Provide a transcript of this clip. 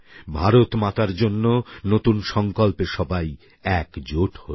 ভারতমাতার জন্য নতুন সংকল্পে সবাই একজোট হই